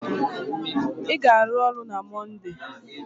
Ị ga-arụ ọrụ na Monde!